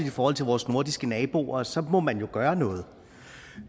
i forhold til vores nordiske naboer og så må man jo gøre noget